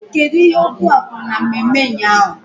Kedu ihe okwu a kwuru na mmemme ụnyaahụ?